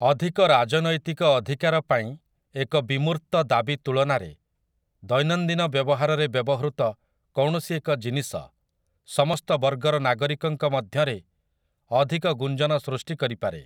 ଅଧିକ ରାଜନୈତିକ ଅଧିକାର ପାଇଁ ଏକ ବିମୂର୍ତ୍ତ ଦାବି ତୁଳନାରେ, ଦୈନନ୍ଦିନ ବ୍ୟବହାରରେ ବ୍ୟବହୃତ କୌଣସି ଏକ ଜିନିଷ, ସମସ୍ତ ବର୍ଗର ନାଗରିକଙ୍କ ମଧ୍ୟରେ ଅଧିକ ଗୁଂଜନ ସୃଷ୍ଟିକରିପାରେ ।